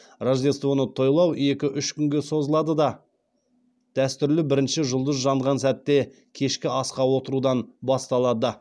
рождествоны тойлау екі үш күнге созылады да дәстүрлі бірінші жұлдыз жанған сәтте кешкі асқа отырудан басталады